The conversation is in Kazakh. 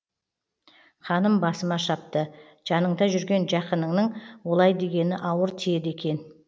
қаным басыма шапты жаныңда жүрген жақыныңның олай дегені ауыр тиеді екен